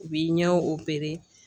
U b'i ɲɛ